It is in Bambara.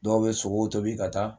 Dɔw bɛ sogow tobi ka taa